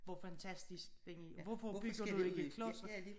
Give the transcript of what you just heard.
Hvor fantastisk den er hvorfor bygger du ikke klodser?